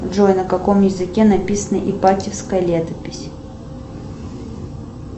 джой на каком языке написана ипатьевская летопись